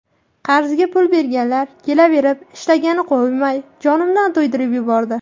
Qarzga pul berganlar kelaverib, ishlagani qo‘ymay, jonimdan to‘ydirib yubordi.